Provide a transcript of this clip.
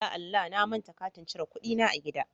Ya Allah!, na manta katin cire kuɗi na a gida.